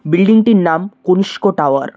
Building -টির নাম Kanishka tower.